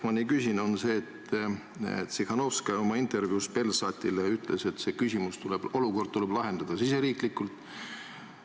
Ma küsin seda sellepärast, et Tsihhanovskaja ütles oma intervjuus Belsatile, et see küsimus, see olukord tuleb lahendada riigisiseselt.